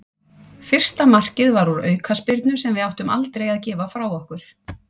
Fyrsta markið var úr aukaspyrnu sem við áttum aldrei að gefa frá okkur.